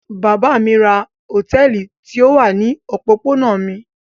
Bàbá mi ra hòtẹ́ẹ́lì tí ó wà ní òpópónà mi.